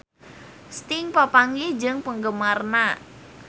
Sting papanggih jeung penggemarna